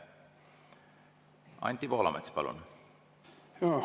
Anti Poolamets, palun!